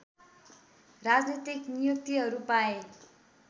राजनीतिक नियुक्तिहरू पाए